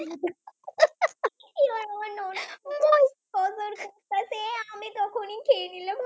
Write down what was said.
উনি খেয়ে নিল।